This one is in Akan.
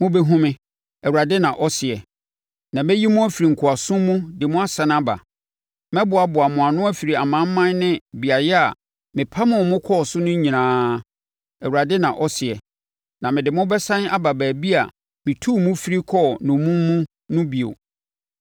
Mobɛhunu me,” Awurade na ɔseɛ, “na mɛyi mo afiri nkoasom mu de mo asane aba. Mɛboaboa mo ano afiri amanaman ne beaeɛ a mepamoo mo kɔɔ so no nyinaa,” Awurade na ɔseɛ, “na mede mo bɛsane aba baabi a metuu mo firi kɔɔ nnommum mu no bio.”